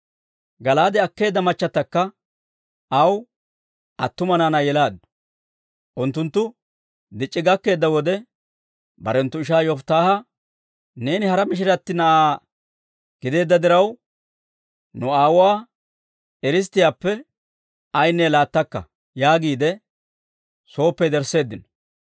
Gala'aade akkeedda machchatakka aw attuma naanaa yelaaddu. Unttunttu dic'c'i gakkeedda wode, barenttu ishaa Yofittaaha, «Neeni hara mishiratti na'aa gideedda diraw, nu aawuwaa biittaappe ayaanne laattakka» yaagiide soyppe yedersseeddino.